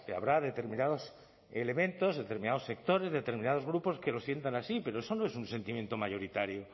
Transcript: habrá determinados elementos determinados sectores determinados grupos que lo sientan así pero eso no es un sentimiento mayoritario